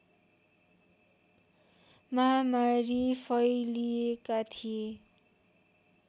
महामारी फैलिएका थिए